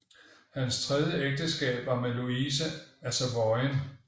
Hans tredje ægteskab var med Louise af Savoyen